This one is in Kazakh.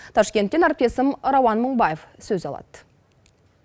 ташкенттен әріптесім рауан мыңбаев сөз алады